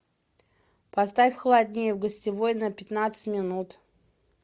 поставь холоднее в гостевой на пятнадцать минут